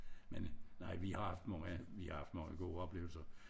Men nej vi har haft mange vi har haft mange gode oplevelser